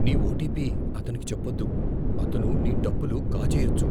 నీ ఓటిపి అతనికి చెప్పొద్దు. అతను నీ డబ్బులు కాజేయొచ్చు.